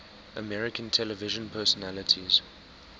american television personalities